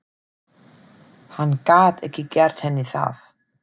Hann gat ekki gert henni það.